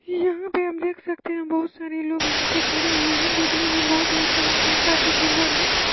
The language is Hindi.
यहाँ पे हम देख सकते हैं बहोत सारे लोग यहाँ पे खड़े हुए हैं देखने में बहोत ही अच्छा लगता है काफी सुन्दर है।